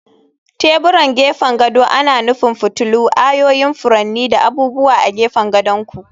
Teburan gefen gado ana nufin fitilu, ayoyin furanni, da abubuwa a gefen gadon ku.